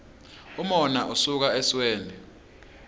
umona usuka esweni